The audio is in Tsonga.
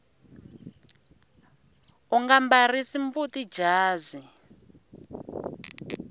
unga mbarisi mbuti jazi